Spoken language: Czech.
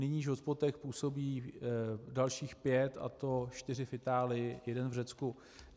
Nyní v hotspotech působí dalších pět, a to čtyři v Itálii, jeden v Řecku.